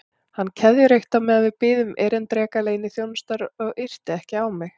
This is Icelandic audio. Hann keðjureykti á meðan við biðum erindreka leyniþjónustunnar og yrti ekki á mig.